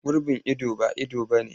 Gurbin ido ba ido ba ne.